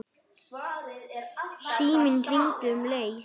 Síminn hringdi um leið.